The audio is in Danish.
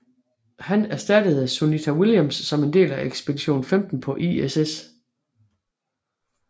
Han erstattede Sunita Williams som del af ekspedition 15 på ISS